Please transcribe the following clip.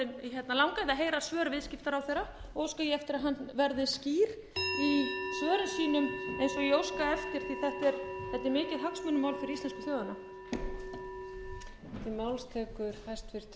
að heyra svör hæstvirtur viðskiptaráðherra og óska ég eftir að hann verði skýr í svörum sínum eins og ég óska eftir því þetta er mikið hagsmunamál fyrir íslensku þjóðina